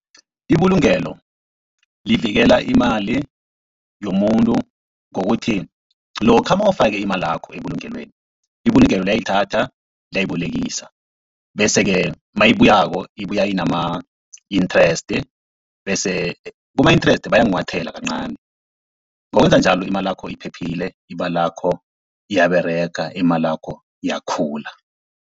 Ibulungelo livikela imali yomuntu, ngokuthi lokha nawufake imalakho ebulungelweni, ibulungelo liyayithatha liyayibolekisa, bese-ke nayibuyako ibuya inama-inthreste bese kuma-interest bayakunghwathela kancani. Ngokwenza njalo imalakho iphephile, imalakho iyaberega, imalakho iyakhula.